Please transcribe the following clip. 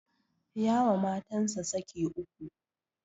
Ya wa matansa saki uku